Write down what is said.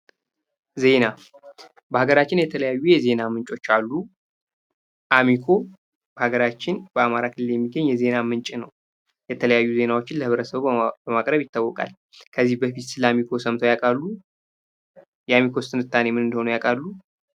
ዜና በሀገራችን የተለያዩ የዜና ምንጮች አሉ። አሜኮ በሀገራችን በአማራ ክልል የሚገኝ የዜና ምንጭ ነው። የተለያዩ ዜናዎችን ለብረተሰቡ መቅረብ ይታወቃል። ከዚህ በፊት ስለ አሜኮ ሰምቶ ያውቃሉ? የአሜኮስ ትንታኔ ምን እንደሆነ ያውቃሉ?